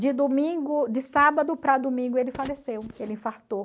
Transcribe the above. De domingo de sábado para domingo ele faleceu, ele infartou.